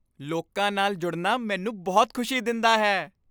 ਲੋਕਾਂ ਨਾਲ ਜੁੜਨਾ ਮੈਨੂੰ ਬਹੁਤ ਖੁਸ਼ੀ ਦਿੰਦਾ ਹੈ।